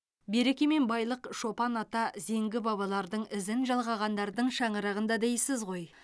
береке мен байлық шопан ата зеңгі бабалардың ізін жалғағандардың шаңырағында дейсіз ғой